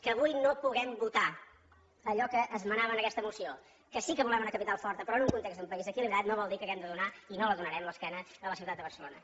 que avui no puguem votar allò que esmenava en aquesta moció que sí que volem una capital forta però en un context d’un país equilibrat no vol dir que hàgim de donar i no la donarem l’esquena a la ciutat de barcelona